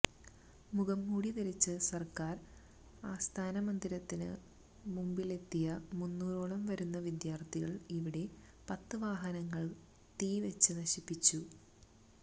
മുഖം മൂടി ധരിച്ച് സര്ക്കാര് ആസ്ഥാനമന്ദിരത്തിന് മുമ്പിലെത്തിയ മൂന്നൂറോളം വരുന്ന വിദ്യാര്ഥികള് ഇവിടെ പത്ത് വാഹനങ്ങള് തീ വെച്ച് നശിപ്പിച്ചു